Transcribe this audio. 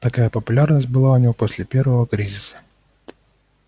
такая популярность была у него и после первого кризиса